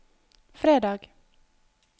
fredag